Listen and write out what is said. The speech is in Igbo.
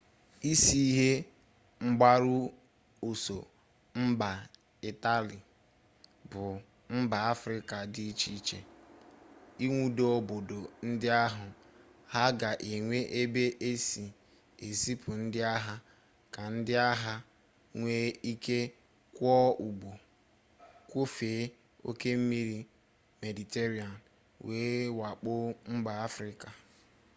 isi ihe mgbaru ọsọ mba itali bụ mba afrịka dị iche iche ịnwudo obodo ndị ahụ ha ga enwe ebe esi ezipu ndị agha ka ndị agha nwee ike kwọọ ụgbọ kwọfee oke osimiri mediterenia wee wakpo mba afrịka